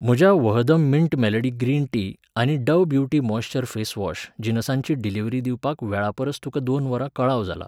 म्हज्या वहदम mint melody green tea आनी Dove beauty moisture face wash जिनसांची डिलिव्हरी दिवपाक वेळापरस तुका दोन वरां कळाव जाला.